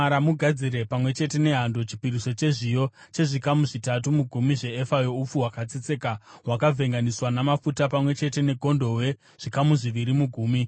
Mugadzire pamwe chete nehando, chipiriso chezviyo chezvikamu zvitatu mugumi zveefa youpfu hwakatsetseka, hwakavhenganiswa namafuta; pamwe chete negondobwe, zvikamu zviviri mugumi;